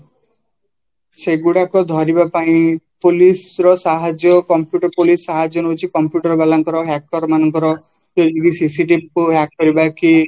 ସେଇଗୁଡ଼ାକ ଧରିବା ପାଇଁ police ର ସାହାର୍ଯ୍ୟ computer police ର ସାହାଯ୍ୟ ନଉଚି computer ବାଲାଙ୍କର hacker ମାନଙ୍କର CCTV କୁ hack କରିବାକି